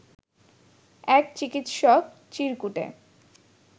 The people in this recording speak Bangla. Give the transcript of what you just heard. এক চিকিৎসক চিরকুটে